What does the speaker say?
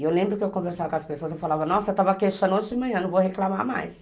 E eu lembro que eu conversava com as pessoas e falava, nossa, eu estava queixando hoje de manhã, não vou reclamar mais.